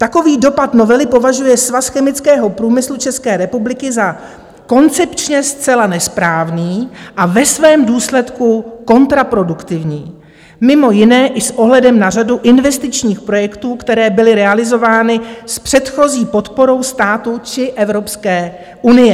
Takový dopad novely považuje Svaz chemického průmyslu České republiky za koncepčně zcela nesprávný a ve svém důsledku kontraproduktivní, mimo jiné i s ohledem na řadu investičních projektů, které byly realizovány s předchozí podporou státu či Evropské unie.